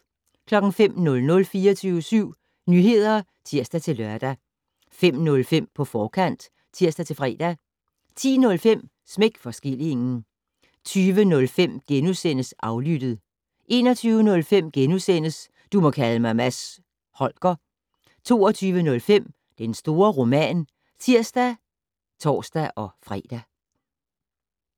05:00: 24syv Nyheder (tir-lør) 05:05: På forkant (tir-fre) 10:05: Smæk for skillingen 20:05: Aflyttet * 21:05: Du må kalde mig Mads Holger * 22:05: Den store roman (tir og tor-fre)